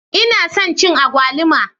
Ina son cin agwaluma.